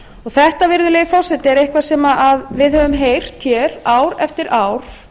þetta virðulegi forseti er eitthvað sem við höfum heyrt hér ár eftir ár